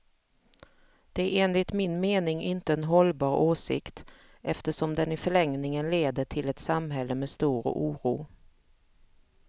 Det är enligt min mening inte en hållbar åsikt, eftersom den i förlängningen leder till ett samhälle med stor oro.